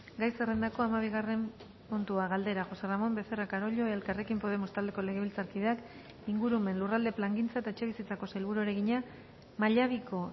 gai zerrendako hamabigarren puntua galdera josé ramón becerra carollo elkarrekin podemos taldeko legebiltzarkideak ingurumen lurralde plangintza eta etxebizitzako sailburuari egina mallabiko